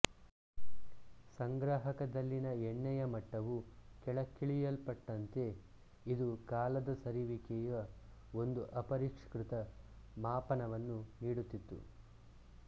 ಸಂಗ್ರಾಹಕದಲ್ಲಿನ ಎಣ್ಣೆಯ ಮಟ್ಟವು ಕೆಳಕ್ಕಿಳಿಯಲ್ಪಟ್ಟಂತೆ ಇದು ಕಾಲದ ಸರಿಯುವಿಕೆಯ ಒಂದು ಅಪರಿಷ್ಕೃತ ಮಾಪನವನ್ನು ನೀಡುತ್ತಿತ್ತು